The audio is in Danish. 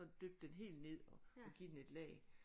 Dyppe den helt ned og og give den et lag